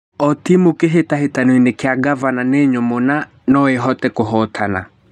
"O timu ya kĩhĩtahĩtano kĩa Ngavana nĩ nyũmũ na noĩhote kũhotana.